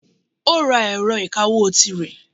Ó ra ẹ̀rọ ìkawó tirẹ̀.